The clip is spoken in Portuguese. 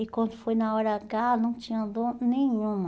E quando foi na hora agá, não tinha dor nenhuma.